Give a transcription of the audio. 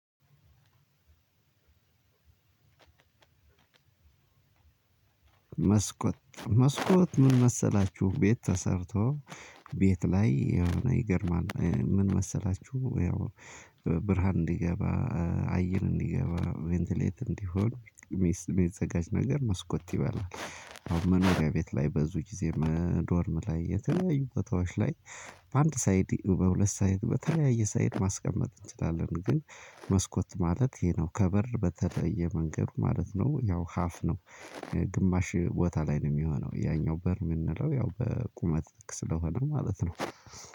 መስኮት መስኮት ምን መሰላችሁ? ቤት ተሰርቶ ቤት ላይ የሆነ ይገርማል ምን መሰላችሁ? ያው ብርሃን እንዲገባ፣ አየን እንዲገባ፣ ቬንትሌት እንዲሆን የሚዘጋጅ ነገር መስኮት ይበላል። አሁን መኖሪያ ቤት ላይ በዙ ጊዜ ዶርም ላይ የተለያዩ ቦታዎች ላይ በአንድ ሳይድ፣ በሁለት ሳይድ፣ በተለያየ ሳይድ ማስቀመጥ እንችላለን። ግን መስኮት ማለት ይሄ ነው። ከበር በተለየ መንገድ ማለት ነው። ያው ሀፍ ነው። ግማሽ ቦታ ላይ ነው የሚሆነው። ያኛው በር የምንለው ያው በቁመት ልክ ስለሆነ ማለት ነው።